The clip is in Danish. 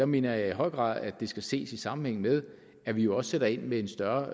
mener jeg i høj grad at det skal ses i sammenhæng med at vi jo også sætter ind med en større